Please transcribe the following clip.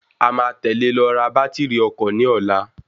A máa tẹ̀lẹ lọ ra bàtírí ọkọ̀ ní ọ̀la.